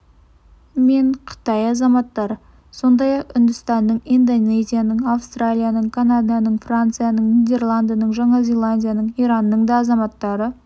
мен қытай азаматтары сондай-ақ үндістанның индонезияның аустралияның канаданың францияның нидерландының жаңа зеландияның иранның да азаматтары